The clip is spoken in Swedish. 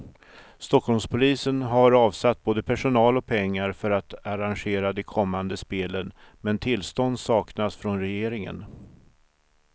Stockholmspolisen har avsatt både personal och pengar för att arrangera de kommande spelen, men tillstånd saknas från regeringen.